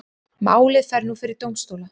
Málið fer nú fyrir dómstóla